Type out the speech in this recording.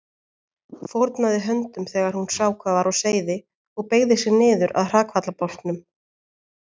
Fórnaði höndum þegar hún sá hvað var á seyði og beygði sig niður að hrakfallabálknum.